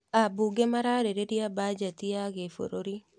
Ambunge mararĩrĩria bajeti ya gĩbũrũri